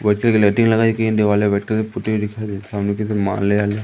बहुत सारी लाइटिंग लगाई गई है दीवालें व्हाइट कलर से पुती हुई दिखाई दे रही सामने की तरफ